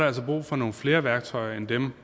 altså brug for nogle flere værktøjer end dem